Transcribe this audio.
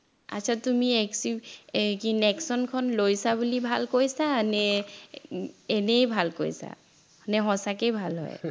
আচ্ছা তুমি এৰ কি নেক্সনখন লৈছা বুলি ভাল কৈছা নে এনেই ভাল কৈছা নে সঁচাকেই ভাল হয়